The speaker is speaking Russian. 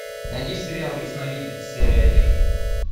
найди сериал ясновидец серия один